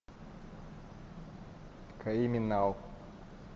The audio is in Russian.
криминал